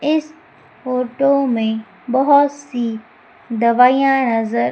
इस फोटो में बहोत सी दवाइयां नजर--